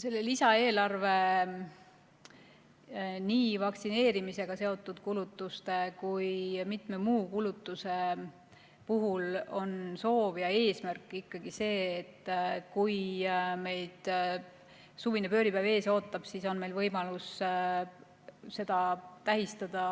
Selle lisaeelarve nii vaktsineerimisega seotud kulutuste kui ka mitme muu kulutuse puhul on soov ja eesmärk ikkagi see, et kui meid suvine pööripäev ees ootab, siis on meil võimalus seda tähistada